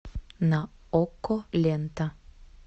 на окко лента